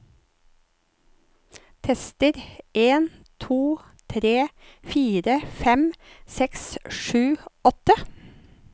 Tester en to tre fire fem seks sju åtte